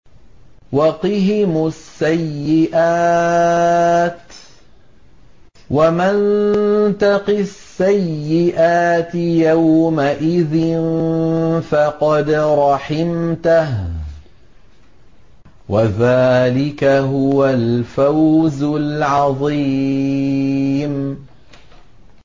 وَقِهِمُ السَّيِّئَاتِ ۚ وَمَن تَقِ السَّيِّئَاتِ يَوْمَئِذٍ فَقَدْ رَحِمْتَهُ ۚ وَذَٰلِكَ هُوَ الْفَوْزُ الْعَظِيمُ